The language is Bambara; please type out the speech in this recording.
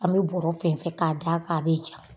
An bɛ bɔrɛ fɛnsɛ k'a da a kan a bɛ ja